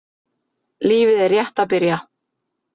Lífið er rétt að byrja.